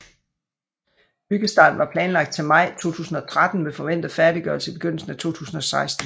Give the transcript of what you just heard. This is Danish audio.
Byggestarten var planlagt til maj 2013 med forventet færdiggørelse i begyndelsen af 2016